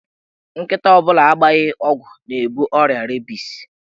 Nkịta ọ bụla agbaghị ọgwụ na-ebu ọrịa rebis.